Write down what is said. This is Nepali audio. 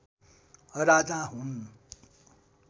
राजा हुन्